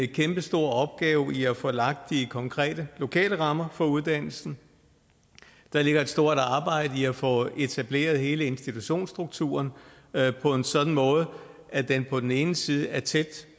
kæmpestor opgave i at få lagt de konkrete lokale rammer for uddannelsen der ligger et stort arbejde i at få etableret hele institutionsstrukturen på en sådan måde at den på den ene side er tæt